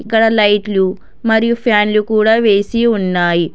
ఇక్కడ లైట్లు మరియు ఫ్యాన్లు కూడా వేసి ఉన్నాయి.